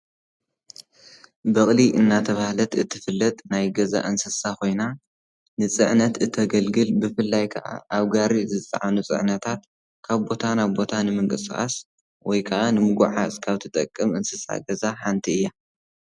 በቕሊ እናተብሃለት ናይ ገዛ እንስሳ ንፅዕነት እተገልግል ብፍላይ ክዓ ኣብ ጋሪ ዝፅዓኑ ፅዕነታት ካብ ቦታ ናብ ቦታ ብምንቅስቓስ ወይከዓ ንምጉዓዝ ካብ ትጠቅም እንስሳ ገዛ ሓንቲ እያ ።